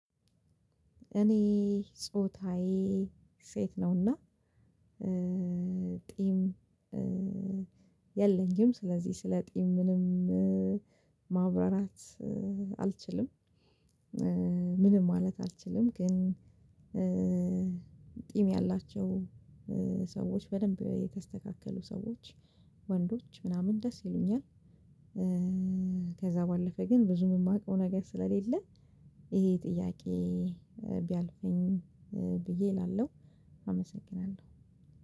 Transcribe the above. እኔ ጾታዬ ሴት ነውና ጢም የለኝም ስለዚህ ስለ ጢም ምንም ማብራራት አልችልም። ምንም ማለት አልችልም ግን። ጢም ያላቸው ሰዎች በደንብ የተስተካከሉ ሰዎች ወንዶች ምናምን ደስ ይሉኛል። ከዛ ባለፈ ግን ብዙም የማውቀው ነገር ስለሌለ። ይሄ ጥያቄ ቢያልፈኝ ብዬ እላለሁ አመሰግናለሁ።